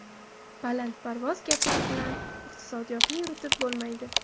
Balandparvoz gaplar bilan iqtisodiyotni yuritib bo‘lmaydi.